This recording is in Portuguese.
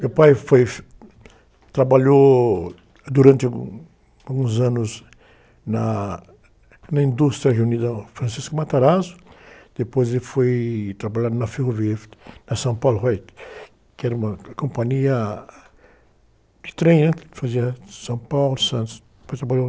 Meu pai foi... Trabalhou durante alguns anos na, na indústria reunida Francisco Matarazzo, depois ele foi trabalhar na Ferrovia, na São Paulo, que era uma companhia de trem, né? Que fazia São Paulo, Santos.